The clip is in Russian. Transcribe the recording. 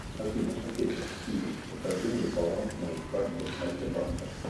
афина окей сири покажи мне баланс моей карты альфа банка